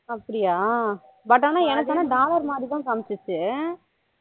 அப்படியா but ஆனா எனக்கு ஆனா dollar மாதிரி தான் காமிசிச்சு